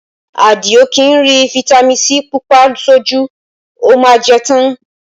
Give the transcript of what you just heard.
Adio kì í rí fitami sii Pupa sójú, ó má a jẹ́ tán